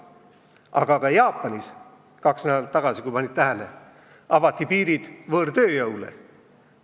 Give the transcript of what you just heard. Aga ka Jaapanis – kaks nädalat tagasi, kui panite tähele – avati piirid võõrtööjõule.